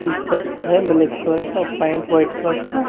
T shirt है black colour का pant white colour का।